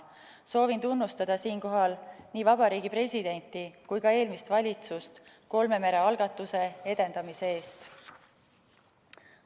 Soovin tunnustada siinkohal nii Vabariigi Presidenti kui ka eelmist valitsust kolme mere algatuse edendamise eest.